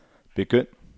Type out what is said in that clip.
begynd